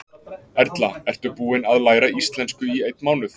Erla: Ertu búin að læra íslensku í einn mánuð?